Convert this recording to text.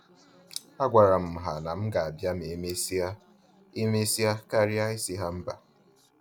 A gwara m ha na m ga-abịa ma emesia emesia karịa isi ha mba